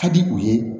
Ka di u ye